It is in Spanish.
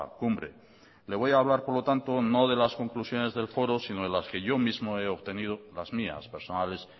cumbre le voy hablar por lo tanto no de las conclusiones del foro sino de las que yo mismo he obtenido las mías personales